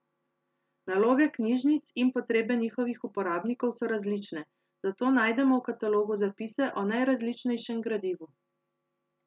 Naloge knjižnic in potrebe njihovih uporabnikov so različne, zato najdemo v katalogu zapise o najrazličnejšem gradivu.